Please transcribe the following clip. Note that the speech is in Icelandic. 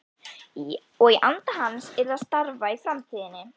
Og í anda hans yrði að starfa í framtíðinni.